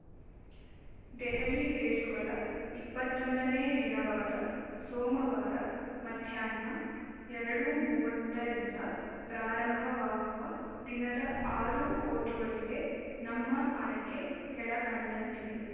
ದೆಹಲಿ ರೇಸುಗಳ ಇಪ್ಪತ್ತೊಂದನೇ ದಿನವಾದ ಸೋಮವಾರ ಮಧ್ಯಾಹ್ನ ಎರಡು ಮೂವತ್ತರಿಂದ ಪ್ರಾರಂಭವಾಗುವ ದಿನದ ಆರು ಓಟಗಳಿಗೆ ನಮ್ಮ ಆಯ್ಕೆ ಕೆಳಕಂಡಂತಿವೆ